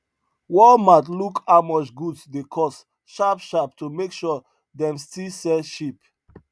walmart look how much goods dey cost sharp sharp to make sure dem still sell cheap